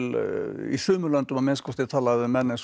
í sumum löndum að minnsta kosti er talað um menn eins og